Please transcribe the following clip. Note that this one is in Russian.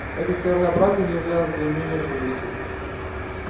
эта сторона брака не являлась для неё неожиданностью